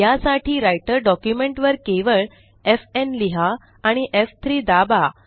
या साठी Writer document वर केवळ एफ न् लिहा आणि एफ3 दाबा